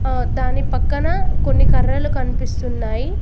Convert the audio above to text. ఆ దాని పక్కన కొన్ని కర్రలు కనిపిస్తున్నాయ్.